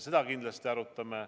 Seda me kindlasti arutame.